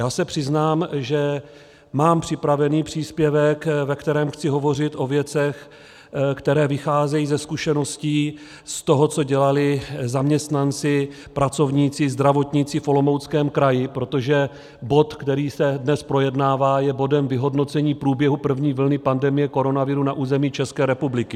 Já se přiznám, že mám připravený příspěvek, ve kterém chci hovořit o věcech, které vycházejí ze zkušeností, z toho, co dělali zaměstnanci, pracovníci, zdravotníci v Olomouckém kraji, protože bod, který se dnes projednává, je bodem vyhodnocení průběhu první vlny pandemie koronaviru na území České republiky.